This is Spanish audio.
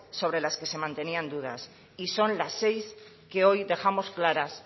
sobre las que se mantenían en dudas y son las seis que hoy dejamos claras